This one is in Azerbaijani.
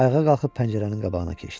Ayağa qalxıb pəncərənin qabağına keçdi.